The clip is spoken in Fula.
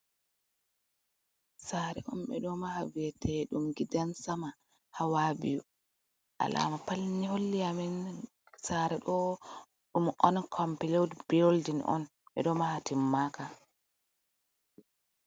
Sare on ɓeɗo maha bete ɗum gidan sama hawa biyu, alama patni holli amin sare ɗo ɗum on compilud buildin on ɓeɗo maha timmaka.